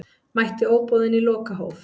Mætti óboðinn í lokahóf